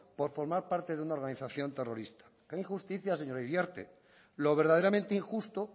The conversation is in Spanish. por formar parte de una organización terrorista qué injusticia señora iriarte lo verdaderamente injusto